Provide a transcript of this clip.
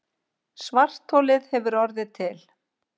Svartholið hefur orðið til.